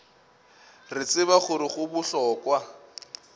re tseba gore go bohlokwa